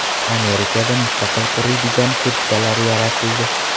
Amerikada mustaqil quriydigan kurtkalar yaratildi.